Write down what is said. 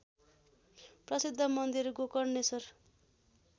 प्रसिद्ध मन्दिर गोकर्णेश्वर